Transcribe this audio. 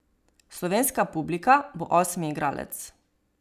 Slovenska publika bo osmi igralec.